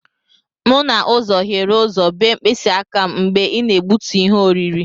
M n'ụzọ hiere ụzọ bee mkpịsị aka m mgbe ị na-egbutu ihe oriri.